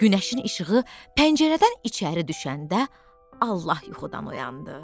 Günəşin işığı pəncərədən içəri düşəndə Allah yuxudan oyandı.